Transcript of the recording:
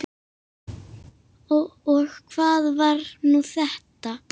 Og hvað var nú þetta!